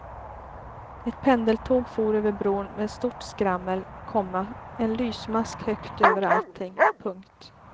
Ett pendeltåg for över bron med stort skrammel, komma en lysmask högt över allting. punkt